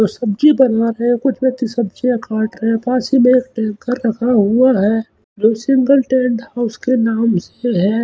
और सब्जी बना रहे हैं कुछ व्यक्ति सब्जियां काट रहे हैं पास ही में एक टैंकर लगा हुआ है जो सिंगल टेंट हाउस के नाम से है।